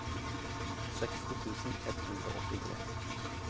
seksti tusen ett hundre og åttitre